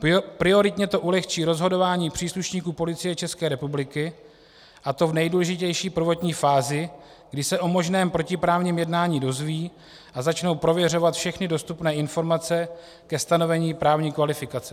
Prioritně to ulehčí rozhodování příslušníků Policie České republiky, a to v nejdůležitější prvotní fázi, kdy se o možném protiprávním jednání dozvědí a začnou prověřovat všechny dostupné informace ke stanovení právní kvalifikace.